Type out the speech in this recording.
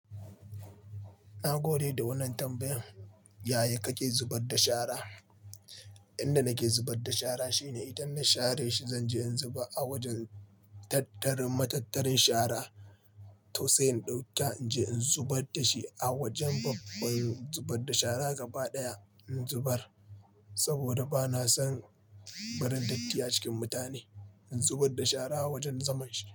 Na gode da wannan tambayan. Yaya kake zubar da shara? Inda nake zubar da shara shi ne idan na share shi, zanje in zuba a wajen tattarin matattarin shara to sai in ɗauka in je in zubar dashi a wajen babban zubar da shara gaba ɗaya in zubar saboda bana son barin datti a cikin mutane. In zubar da shara a wajen zaman shi.